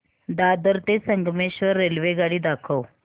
दादर ते संगमेश्वर रेल्वेगाडी दाखव